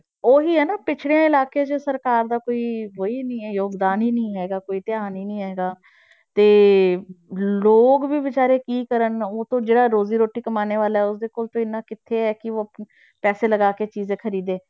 ਉਹ ਹੀ ਹੈ ਨਾ ਪਿੱਛੜੇ ਇਲਾਕੇ 'ਚ ਸਰਕਾਰ ਦਾ ਕੋਈ ਉਹੀ ਨੀ ਹੈ ਯੋਗਦਾਨ ਹੀ ਨੀ ਹੈਗਾ ਕੋਈ ਧਿਆਨ ਹੀ ਨੀ ਹੈਗਾ ਤੇ ਲੋਕ ਵੀ ਬੇਚਾਰੇ ਕੀ ਕਰਨ ਉੱਤੋਂ ਜਿਹੜਾ ਰੋਜ਼ੀ ਰੋਟੀ ਕਮਾਉਣ ਵਾਲਾ ਹੈ ਉਸਦੇ ਕੋਲ ਤਾਂ ਇੰਨਾ ਕਿੱਥੇ ਹੈ ਕਿ ਉਹ ਆਪਣੇ ਪੈਸੇ ਲਗਾ ਕੇ ਚੀਜ਼ਾਂ ਖ਼ਰੀਦੇ।